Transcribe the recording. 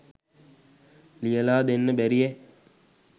ලියල දෙන්න බැරියැ.